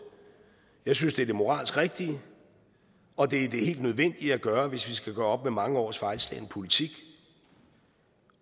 jeg synes det er det moralsk rigtige og det er det helt nødvendige at gøre hvis vi skal gøre op med mange års fejlslagen politik